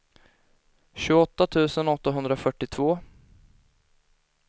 tjugoåtta tusen åttahundrafyrtiotvå